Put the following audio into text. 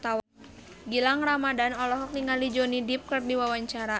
Gilang Ramadan olohok ningali Johnny Depp keur diwawancara